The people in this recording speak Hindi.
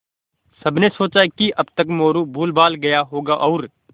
सबने सोचा कि अब तक मोरू भूलभाल गया होगा और